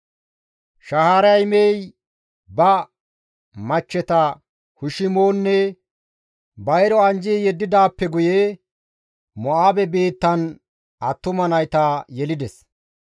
Shaharaymey ba machcheta Hushimonne Ba7iro anjji yeddidaappe guye Mo7aabe biittan attuma nayta yelides.